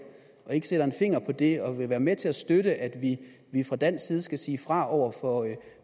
og ikke sætter en finger på det og vil være med til at støtte at vi fra dansk side skal sige fra over for